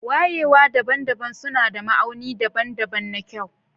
Wayewa daban-daban suna da ma'auni daban-daban na kyau.